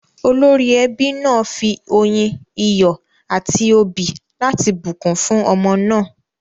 Olórí ẹbí náà fi oyin, iyọ̀ a ti òbí láti bùnkún fún ọmọ náà.